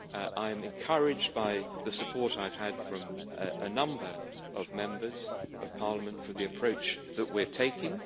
I am encouraged by the support I have had from a number of Members of Parliament for the approach that we are taking.